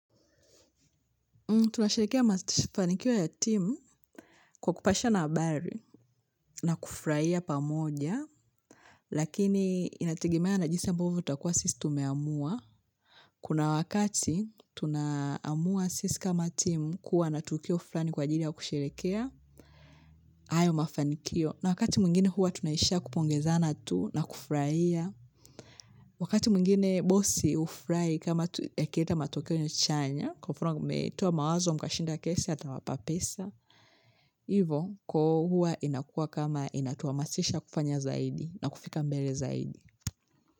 Tunashirikia mafanikio ya timu kwa kupashana habari na kufrahia pamoja, lakini inategemea na jinsi ambavyo utakuwa sisi tumeamua. Kuna wakati tunaamua sisi kama timu kuwa na tukio fulani kwa jiri ya kushirikia, ayo mafanikio. Na wakati mwingine huwa tunaishia kupongezana tu na kufurahia. Wakati mwingine bosi hufurahi kama yakileta matokeo nyo chanya, kufruna toa mawazo mkashinda kesi atawapa pesa, ivo huwa inakuwa kama inatuhamasisha kufanya zaidi na kufika mbele zaidi.